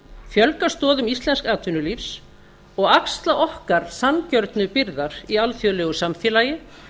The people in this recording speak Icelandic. fjölga stoðum íslensks atvinnulífs og axla okkar sanngjörnu byrðar í alþjóðlegu samfélagi